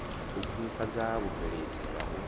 u khwinifhadza vhubveledzi na u